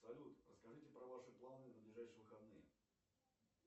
салют расскажите про ваши планы на ближайшие выходные